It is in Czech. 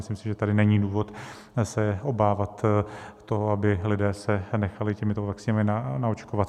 Myslím si, že tady není důvod se obávat toho, aby se lidé nechali těmito vakcínami naočkovat.